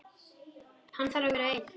Hann þarf að vera einn.